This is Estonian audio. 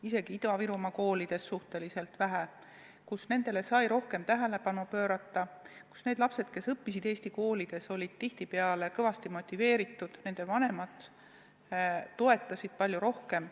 Isegi Ida-Virumaa koolides sai sellistele õpilastele rohkem tähelepanu pöörata, sest need lapsed, kes õppisid eesti koolides, olid tihtipeale kõvasti motiveeritud ja nende vanemad toetasid neid palju rohkem.